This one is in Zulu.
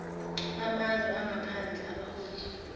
bamazwe angaphandle abaholi